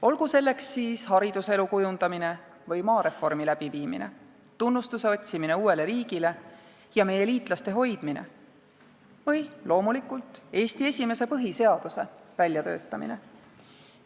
Olgu selleks siis hariduselu kujundamine või maareformi läbiviimine, tunnustuse otsimine uuele riigile ja meie liitlaste hoidmine või loomulikult Eesti esimese põhiseaduse väljatöötamine.